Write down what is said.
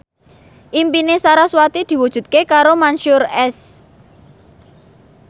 impine sarasvati diwujudke karo Mansyur S